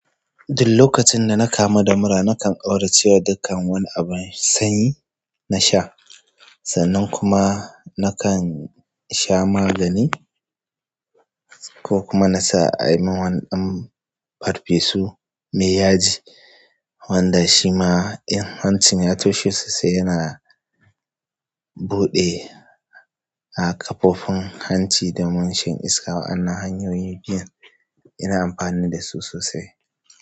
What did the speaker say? Duk lokacin da na kamu da mura, nakan ƙaurace wa dukkan wani abu me sanyi na sha. Sannan kuma nakan sha magani ko kuma na sa a yi min wani ɗan farfesu mai yaji wanda shi ma in hancin ya toshe sosai yana buɗe. Han. A kafofin hanci domun shan iska. Wa'anna hanyoyi biyun ina amfani da su sosai.